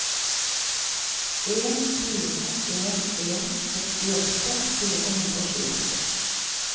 en fire en en sekstiåtte fire hundre og tjueåtte